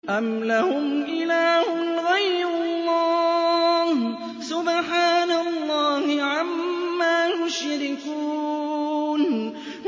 أَمْ لَهُمْ إِلَٰهٌ غَيْرُ اللَّهِ ۚ سُبْحَانَ اللَّهِ عَمَّا يُشْرِكُونَ